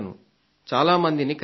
చాలా మందిని కలిశాను